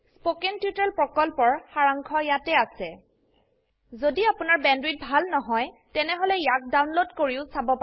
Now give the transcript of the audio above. spoken tutorial প্ৰকল্পৰ সাৰাংশ ইয়াত আছে যদি আপোনাৰ বেণ্ডৱিডথ ভাল নহয় তেনেহলে ইয়াক ডাউনলোড কৰি চাব পাৰে